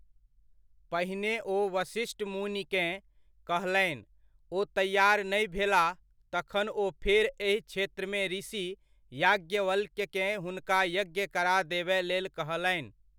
पहिने ओ वशिष्ठ मुनिकेॅं कहलनि ओ तैआर नहि भेलाह तखन ओ फेर एहि क्षेत्रमे ऋषि याज्ञवल्क्यकेँ हुनका यज्ञ करा देबय लेल कहलनि।